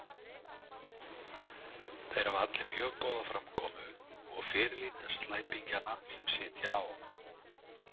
Þeir hafa allir mjög góða framkomu og fyrirlíta slæpingjana sem sitja á